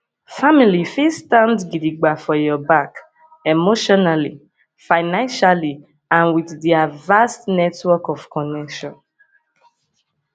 family fit stand gidigba for your back emotionally financially and with their vast network of connection